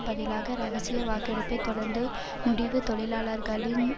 பதிலாக இரகசிய வாக்கெடுப்பை தொடக்கும் முடிவு தொழிலாளர்களின்